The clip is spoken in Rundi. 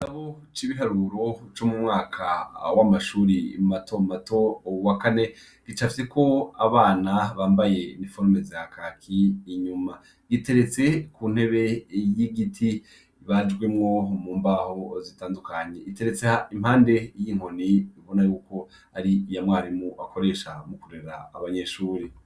Igitabo cibiharuro co mumwaka wamashure matomato wa Kane gicafyeko abana bambaye uniforme za kaki inyuma iteretse kuntebe inyuma yigiti kibajwemwo mumbaho zitandukanye giteretswe hasi impande yinkoni ubona yuko ari ya mwarimu bakoresha mukurera abanyeshure